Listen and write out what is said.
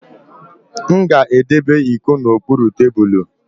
M ga-edebe iko n'okpuru tebulu